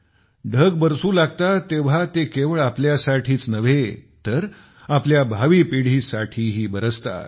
ढग बरसू लागतात तेव्हा ते केवळ आपल्यासाठीच नव्हे तर आपल्या भावी पिढीसाठीही बरसतात